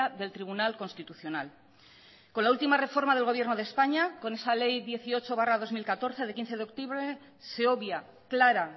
del tribunal constitucional con la última reforma del gobierno de españa con esa ley dieciocho barra dos mil catorce de quince de octubre se obvia clara